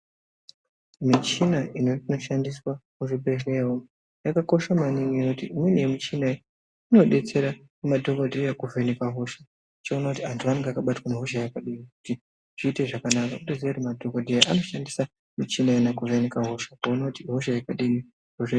Michina inoshandiswa muzvibhehlera umu yakakosha maningi ngekuti imweni yemichina iyi inodetsira madhokodheya kuvheneka hosha, uchiona kuti anhu anaga akabatwa nehosha yakadini, kuti zviite zvakanaka madhokodheya vanoshandisa michina iyo kuvheneka hosha kuona kuti ihosha yakadini